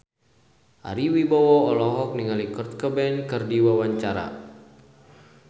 Ari Wibowo olohok ningali Kurt Cobain keur diwawancara